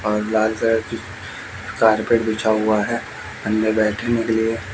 और लाल कलर की कारपेट बिछा हुआ है अंदर बैठने के लिए--